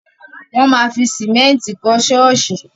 Wọ́n ma fi sìmẹ́ntì kọ́ ṣọ́ọ̀ṣì.